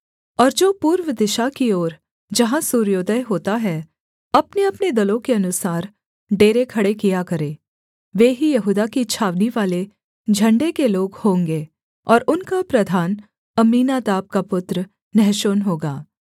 और जो पूर्व दिशा की ओर जहाँ सूर्योदय होता है अपनेअपने दलों के अनुसार डेरे खड़े किया करें वे ही यहूदा की छावनीवाले झण्डे के लोग होंगे और उनका प्रधान अम्मीनादाब का पुत्र नहशोन होगा